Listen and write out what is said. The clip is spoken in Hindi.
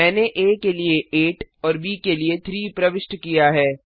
मैंने आ के लिए 8 और ब के लिए 3 प्रविष्ट किया है